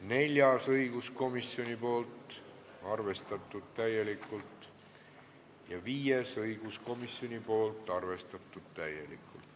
Neljas õiguskomisjonilt, arvestatud täielikult, ja viies õiguskomisjonilt, arvestatud täielikult.